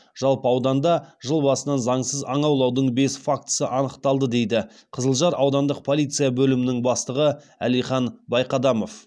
жалпы ауданда жыл басынан заңсыз аң аулаудың бес фактісі анықталды дейді қызылжар аудандық полиция бөлімінің бастығы әлихан байқадамов